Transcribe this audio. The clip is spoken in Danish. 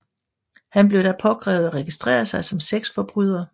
Han blev da påkrævet at registrere sig som sexforbryder